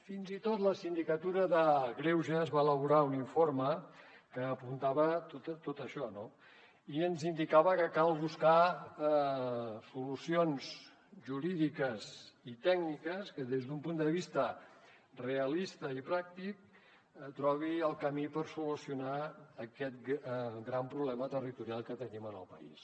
fins i tot la sindicatura de greuges va elaborar un informe que apuntava tot això no i ens indicava que cal buscar solucions jurídiques i tècniques que des d’un punt de vista realista i pràctic trobin el camí per solucionar aquest gran problema territorial que tenim en el país